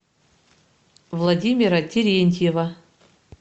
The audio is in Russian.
владимира терентьева